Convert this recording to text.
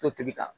To tobi ka